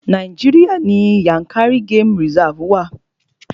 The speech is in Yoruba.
Nàíjíríà ní Yànkárí game reserve wa.